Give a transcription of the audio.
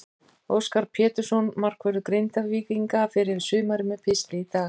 Óskar Pétursson, markvörður Grindvíkinga, fer yfir sumarið með pistli í dag.